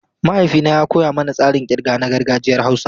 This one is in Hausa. Mahaifina ya koya mana tsarin kirga na gargajiyar Hausa.